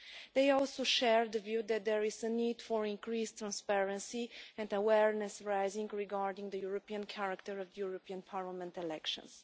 They also share the view that there is a need for increased transparency and awareness-raising regarding the European character of the European Parliament elections.